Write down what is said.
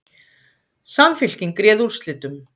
Samfylking réð úrslitum